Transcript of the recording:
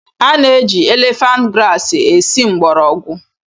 A na-eji elefant grasi esi mgbọrọgwụ